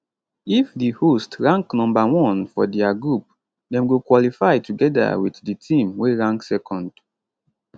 if di host rank number one for dia group dem go qualify togeda wit di team wey rank second